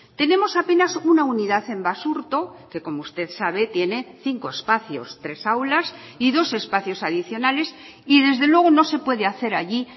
tenemos apenas una unidad en basurto que como usted sabe tiene cinco espacios tres aulas y dos espacios adicionales y desde luego no se puede hacer allí